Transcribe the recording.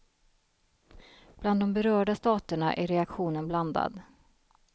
Bland de berörda staterna är reaktionen blandad.